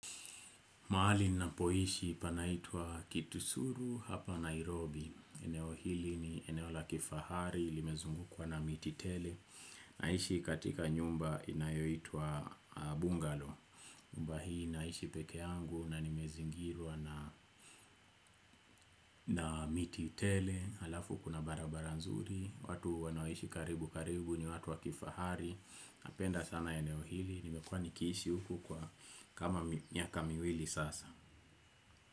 Mahali ninapoishi panaitwa Kitusuru hapa Nairobi. Eneo hili ni eneo la kifahari, limezungukwa na miti tele. Naishi katika nyumba inayoitwa Bungalo. Nyumba hii ninaishi peke yangu na nimezingirwa na miti tele. Halafu kuna barabara nzuri. Watu wanaoishi karibu karibu ni watu wa kifahari. Napenda sana eneo hili. Nimekuwa nikiishi huku kwa kama miaka miwili sasa.